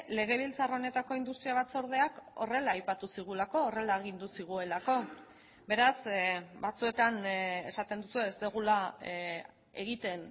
legebiltzar honetako industria batzordeak horrela aipatu zigulako horrela agindu zigulako beraz batzuetan esaten duzue ez dugula egiten